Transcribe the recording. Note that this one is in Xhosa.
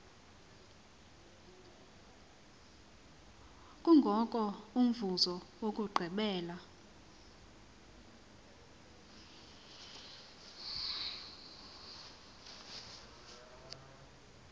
kungoko umvuzo wokugqibela